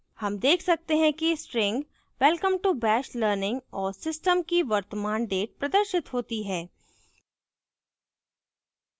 हम देख सकते हैं कि string welcome to bash learning और system की वर्तमान date प्रदर्शित होती है